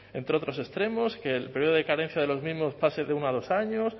entre otros extremos que el periodo de cadencia de los mismos pase de uno a dos años